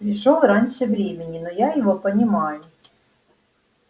пришёл раньше времени но я его понимаю